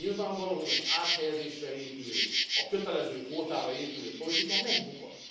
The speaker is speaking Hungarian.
Nyilvánvaló, hogy az áthelyezésre épülő, a kötelező kvótára épülő politika megbukott.